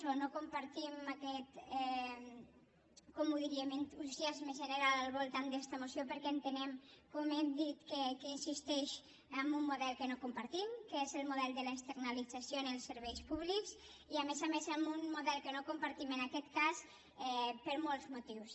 bé no compartim aquest com ho diríem entusiasme general al voltant d’esta moció perquè entenem com hem dit que aquí insisteix en un model que no compartim que és el model de l’externalització en els serveis públics i a més a més en un model que no compartim en aquest cas per molts motius